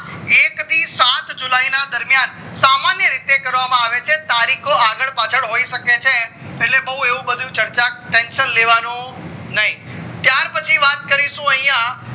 એક થી સાત જુલાય ના દરમિયાન સામાન્ય રીતે કરવામાં આવે છે તારીખો આગળ પાચલ હોઈ શકે છે એટલે બૌ બધું એવું ચર્ચા tension લેવાનું નય ત્યાર પછી વાત કરીશું અહિયાં